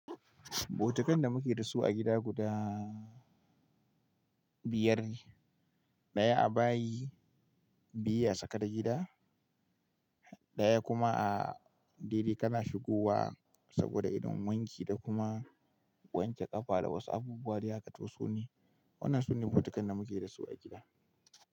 Butukan da muke da su a gida guda biyar ne. Daya a bayi, biyu a tsakar gida, daya kuma a dai dai kana shigowa saboda idan wanki da kuma wanke ƙafa da wasu abubuwa da ya ka toso ne. Waɗannan su ne butukan da muke da su a gida.